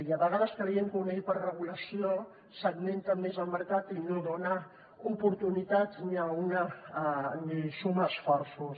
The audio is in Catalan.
i a vegades creiem que una hiperregulació segmenta més el mercat i no dona oportunitats ni suma esforços